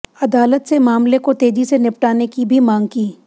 अदालत से मामले को तेजी से निपटाने की भी मांग की